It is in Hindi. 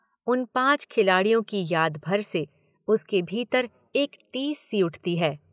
उन पाँच खिलाड़ियों की याद भर से उसके भीतर एक टीस सी उठती है।